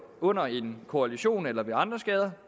under en kollision eller ved andre skader